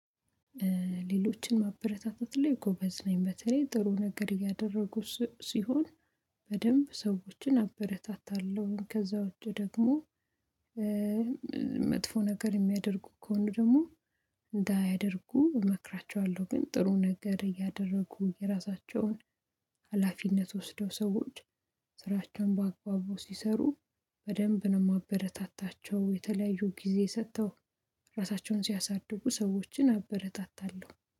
ሌሎችን ማበረታታት ላይ ጎበዝ ነኝ። በተለይ ጥሩ ነገር እያደረጉ ሲሆን፤ በደንብ ሰዎችን አበረታታለሁኝ። ከዛ ውጪ ደግሞ መጥፎ ነገር የሚያደርጉ ከሆነ ደግሞ፤ እንዳያደርጉ እመክራቸዋለሁ። ግን ጥሩ ነገር እያደረጉ ሀላፊነት ወስደው ሰዎች ስራቸውን በአግባቡ ሲሰሩ፤ በደንብ ነው የማበረታታቸው። የተለያዩ ጊዜ ሰጥተው ራሳቸውን ሲያሳድጉ ሰዎችን አበረታታለሁ።